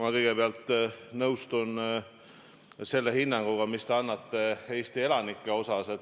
Ma kõigepealt nõustun selle hinnanguga, mis te annate Eesti elanikele.